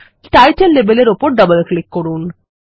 title লেবেলের উপর double click করুন